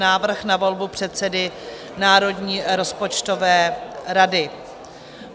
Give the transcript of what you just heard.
Návrh na volbu předsedy Národní rozpočtové rady